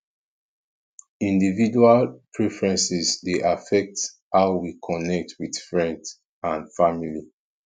individual preferences dey affect how we connect with friends and family